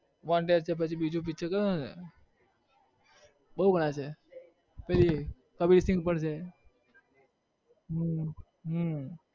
wanted છે પછી બીજુ picture કયું છે? બોવ ઘણા છે પેલી કબીર સિંહ પણ છે. હમ હમ